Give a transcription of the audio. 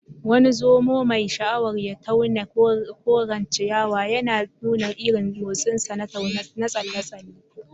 Wani zomo mai sha'awar ya tauna koren ciyawa, yana nuna irin motsinsa na tsalle-tsalle.